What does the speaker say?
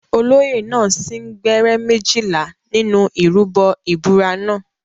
Olóyè náà sín gbẹ́rẹ́ méjìlá nínú ìrúbọ ìbúra náà.